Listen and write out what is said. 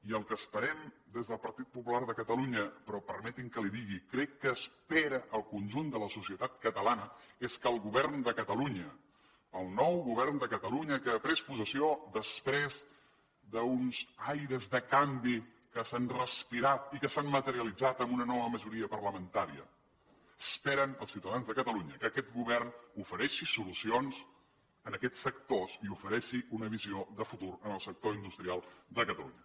i el que esperem des del partit popular de catalunya però permeti’m que li ho digui crec que espera el conjunt de la societat catalana és que el govern de catalunya el nou govern de catalunya que ha pres possessió després d’uns aires de canvi que s’han respirat i que s’han materialitzat en una nova majoria parlamentària esperen els ciutadans de catalunya que aquest govern ofereixi solucions a aquests sectors i ofereixi una visió de futur en el sector industrial de catalunya